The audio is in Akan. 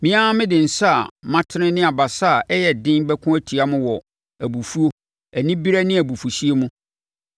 Me ara mede nsa a matene ne abasa a ɛyɛ den bɛko atia mo wɔ abufuo, anibereɛ ne abufuhyeɛ mu.